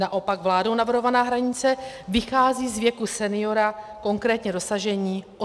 Naopak vládou navrhovaná hranice vychází z věku seniora, konkrétně dosažení 85 let.